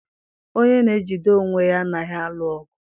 onye na-ejide onwe ya anaghị alụ ọgụ.